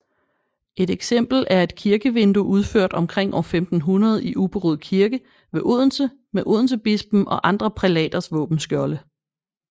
Et eksempel er et kirkevindue udført omkring år 1500 i Ubberud Kirke ved Odense med odensebispen og andre prælaters våbenskjolde